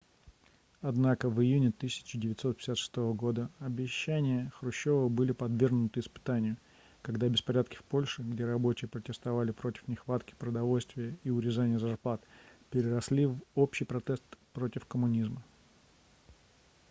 однако в июне 1956 года обещания хрущёва были подвергнуты испытанию когда беспорядки в польше где рабочие протестовали против нехватки продовольствия и урезания зарплат переросли в общий протест против коммунизма